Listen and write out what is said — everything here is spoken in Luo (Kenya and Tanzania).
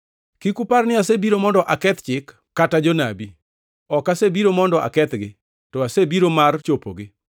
“Kik upar ni asebiro mondo aketh Chik kata Jonabi. Ok asebiro mondo akethgi, to asebiro mar chopogi.